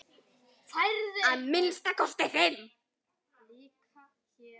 Að minnsta kosti fimm!